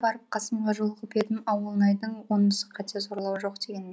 барып қасымға жолығып едім ауылнайдың онысы қате зорлау жоқ